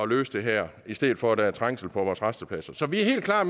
løse det her i stedet for at der er trængsel på vores rastepladser så vi er helt klar